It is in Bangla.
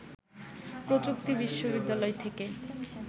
প্রযুক্তি বিশ্ববিদ্যালয় থেকে